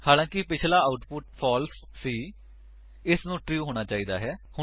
ਹਾਲਾਂਕਿ ਪਿੱਛਲਾ output false ਸੀ ਇਸਨੂੰ ਟਰੂ ਹੋਣਾ ਚਾਹੀਦਾ ਹੈ